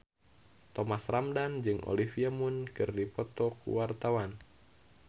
Thomas Ramdhan jeung Olivia Munn keur dipoto ku wartawan